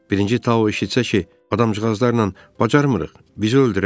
Birinci Tao eşitsə ki, adamcıqazlarla bacarmırıq, bizi öldürər.